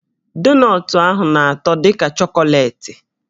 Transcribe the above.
Donọtụ ahụ na-atọ dị ka chọkọleetị